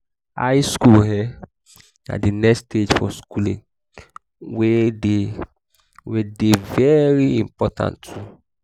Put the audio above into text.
high school um na the next stage of schooling wey de wey de very important too